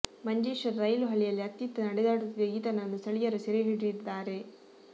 Manjeshwar rail ಹಳಿಯಲ್ಲಿ ಅತ್ತಿತ್ತ ನಡೆದಾಡುತ್ತಿದ್ದ ಈತನನ್ನು ಸ್ಥಳೀಯರು ಸೆರೆ ಹಿಡಿದಿದ್ದಾರೆ